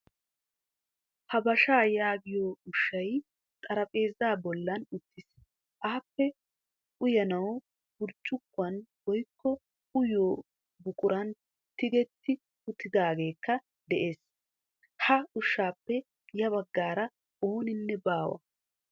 Habashaa yaagiyo ushshay xarphpheezaa bollan uttiis. Appe uyanawu burccukuwan woykko uyiyo buquran tigetti uttidaageekka de'ees. Ha ushshaappe ya baggaara ooninne baawa.